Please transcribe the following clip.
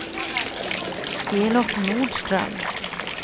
Elof Nordström